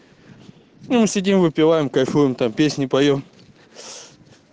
сидим выпиваем кайфуем там песни поем